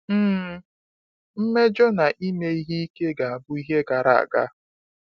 um Mmejọ na ime ihe ike ga-abụ ihe gara aga.